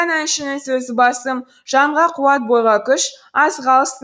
әншінің сөзі басым жанға қуат бойға күш азық алсын